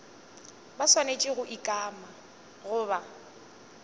ba swanetše go ikana goba